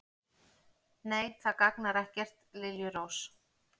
Nei, það gagnar ekkert, liljurós.